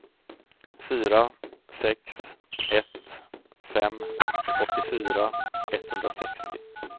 fyra sex ett fem åttiofyra etthundrasextio